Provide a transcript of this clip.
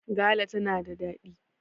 gala tana da daɗi!